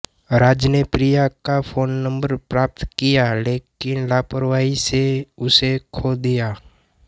राज ने प्रिया का phone number प्राप्त किया लेकिन लापरवाही से उसे खो दिया